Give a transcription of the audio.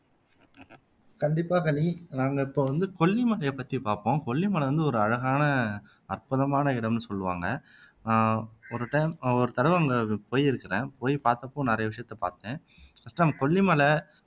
கண்டிப்பா கண்ணகி நாங்க இப்ப வந்து கொல்லிமலையை பத்தி பார்ப்போம் கொல்லிமலை வந்து ஒரு அழகான அற்புதமான இடம்னு சொல்லுவாங்க ஆஹ் ஒரு டைம் ஒரு தடவை அங்கு போயிருக்கிறேன் போய் பார்த்தப்போ நிறைய விசயத்தை பார்த்தேன் அதான் கொல்லிமலை